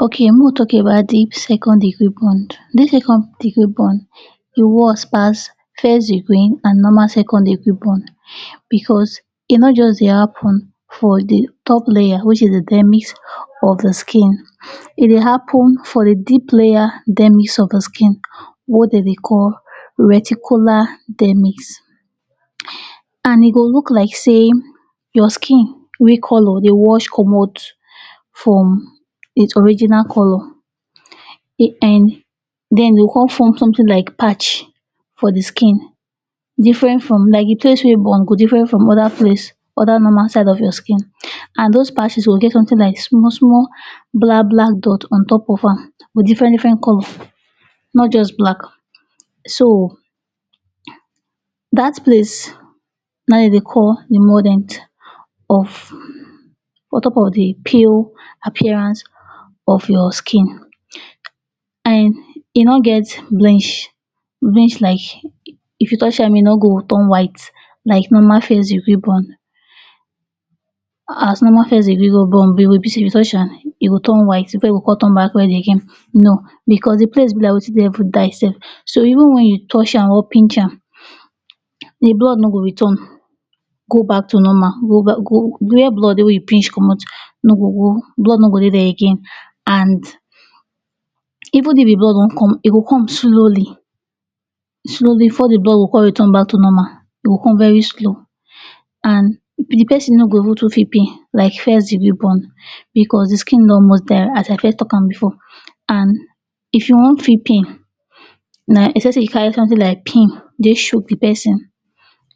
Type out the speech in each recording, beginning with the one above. Okay make we talk about deep second-degree burn, deep second degree burn e worse pass first-degree and normal second-degree burn because e no just dey happen for de top layer wey sey the Dermis of de skin, e dey happen for the deep layer dermis of the skin wey dem dey call reticular dermis and e go look like sey your skin wey colour dey wash commot from its original colour. den E go come form something like patch for de skin different from like de place wey burn go different from other place other normal of the skin and those patches go get something like small-small black-black dot on top of am with different colour not just black. So that place na im dem dey call de mordent of on top of de pale appearance of your skin and e no get blinsh, blinsh like if you touch am e no go turn white, like normal first degree burn as normal first-degree go burn e go turn white before e con well again, no! because the place be like wetin dey fit dye sef. So even if you touch or pinch am the blood no go return go back to normal, where blood wey you pinch commot, de blood no go dey there again. And even if de blood con come e go come slowly, slowly before de blood go come return to normal. E go come very slow. And de person no go even too feel pain like first-degree burn because the skin don almost die as I first talk am before and if you no feel pain na except sey you carry something like pin chook de person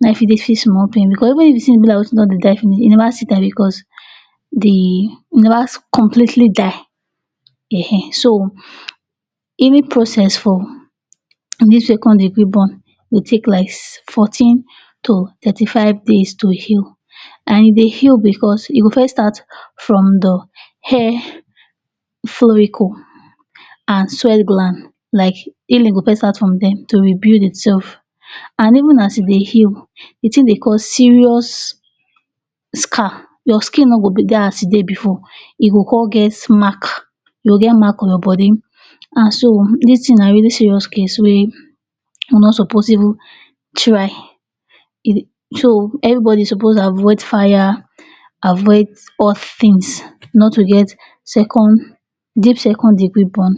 na im e fit feel small pain because even the thing be like something wey don dey die finish e neva still die because the last completely die um. So any process for dis second-degree burn go take like fourteen to thirty five days to heal and e dey heal because e go first start from the hair follicle and soil gland like e go first start from dem to rebuild itself and even as e dey heal de thing dey cause serious scar, your skin no go dey as e take dey before, e go come get mark e go get mark for your body. And so dis na very serious case wey we no suppose even try. So everybody suppose avoid fire, avoid all things not to get deep second-degree burn.